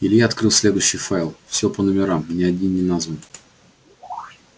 илья открыл следующий файл всё по номерам ни один не назван